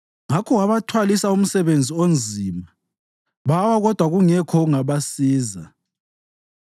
Ngakho wabathwalisa umsebenzi onzima; bawa kodwa kungekho ongabasiza.